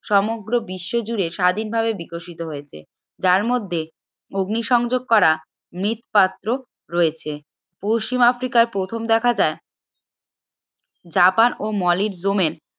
সমগ্র বিশ্বজুড়ে স্বাধীনভাবে বিকশিত হয়েছে যার মধ্যে অগ্নিসংযোগ করা মৃৎ পাত্র রয়েছে পশ্চিম আফ্রিকায় প্রথম দেখা যায় জাপান ও